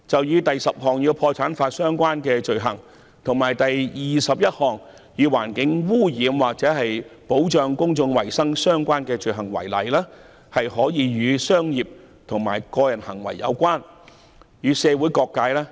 以第10項"破產法所訂的罪行"，以及第21項"與環境污染或保障公眾衞生有關的法律所訂的罪行"為例，這些罪行可以與商業及個人行為有關，亦可以與社會各界有關。